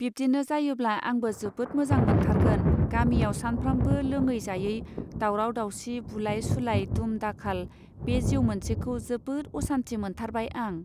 बिब्दिनो जायोब्ला आंबो जोबोद मोजां मोनथारगोन गामियाव सानफ्रामबो लोङै जायै दावराव दावसि बुलाय सुलाय दुम दाखाल बे जिउ मोनसेखौ जोबोद असान्थि मोनथारबाय आं.